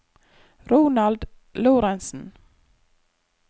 Ronald Lorentsen